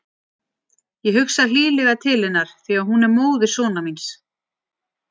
Ég hugsa hlýlega til hennar því að hún er móðir sonar míns.